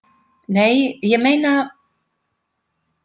Nei, ég meina.